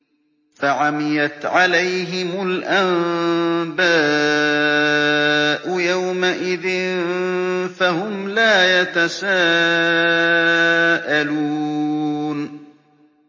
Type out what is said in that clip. فَعَمِيَتْ عَلَيْهِمُ الْأَنبَاءُ يَوْمَئِذٍ فَهُمْ لَا يَتَسَاءَلُونَ